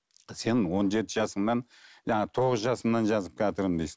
сен он жеті жасыңнан жаңағы тоғыз жасыңнан жазып келатырмын дейсің